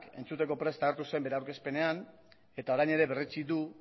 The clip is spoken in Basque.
entzuteko prest agertu zen bere aurkezpenean eta orain ere berretsi du